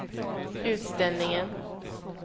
utställningen